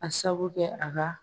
A sabu kɛ a ka